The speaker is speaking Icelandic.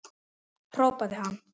hrópaði hann.